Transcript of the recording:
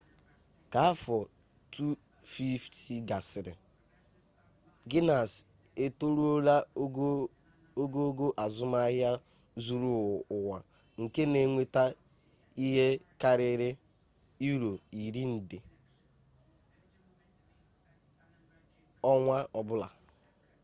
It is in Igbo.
ka afọ 250 gasịrị gines etoruola ogugo azụmahịa zuru ụwa nke na enweta ihe karịrị euro iri nde us$14.7 billion ọnwa ọbụla